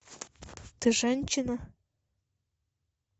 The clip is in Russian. ты женщина